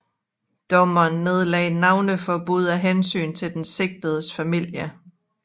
Dommeren nedlagde navneforbud af hensyn til den sigtedes familie